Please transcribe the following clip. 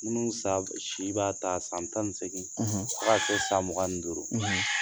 Minnu san si b'a ta san tan seggin k kɛ san mugan duuru